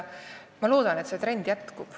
Ma loodan, et see trend jätkub.